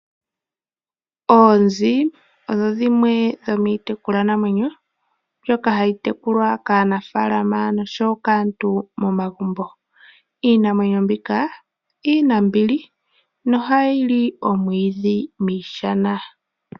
Oonzi odho dhimwe dho miitekulwa namwenyo mbyoka hayi tekulwa kaanafalama noshowo kaantu momagumbo. Iinamwenyo mbika inambili no hayi li omwiidhi miishana.